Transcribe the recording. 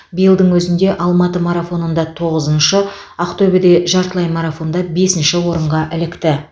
биылдың өзінде алматы марафонында тоғызыншы ақтөбеде жартылай марафонда бесінші орынға ілікті